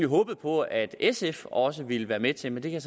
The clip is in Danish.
håbet på at sf også ville være med til men det kan